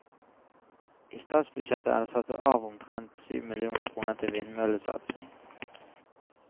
I statsbudsjettet er det satt av omtrent syv millioner kroner til vindmøllesatsing.